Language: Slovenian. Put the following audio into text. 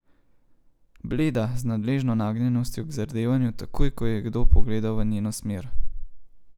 Bleda, z nadležno nagnjenostjo k zardevanju, takoj ko je kdo pogledal v njeno smer.